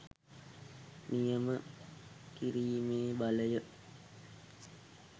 නියම කිරීමේ බලය